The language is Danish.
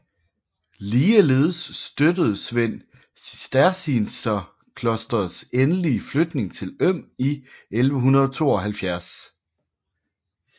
Ligeledes støttede Svend cistercienserklosterets endelige flytning til Øm i 1172